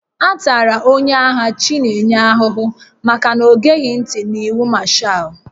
A tara onye agha Chinenye ahụhụ maka na o geghị ntị n'iwu Mashaal